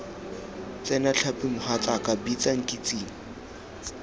tsena tlhapi mogatsaaka bitsa nkitsing